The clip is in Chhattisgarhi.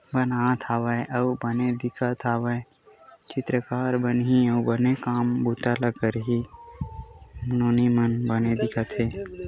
अनाथ हावे अउ बने दिखत हवे चित्रकार बनहि अउ बने काम बुता ल करहि अउ नोनी मन बने दिखत हे--